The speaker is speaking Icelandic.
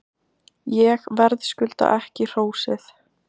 Ég verðskulda ekki hrósið.